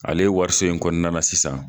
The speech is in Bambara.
Ale wariso in kɔnɔna la sisan